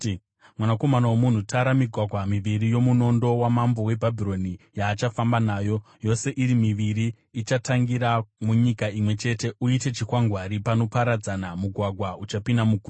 “Mwanakomana womunhu, tara migwagwa miviri yomunondo wamambo weBhabhironi yaachafamba nayo, yose iri miviri ichitangira munyika imwe chete. Uite chikwangwari panoparadzana mugwagwa uchipinda muguta.